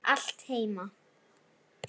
Allt heima.